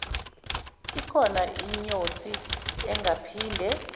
ikhona inyosi engaphinde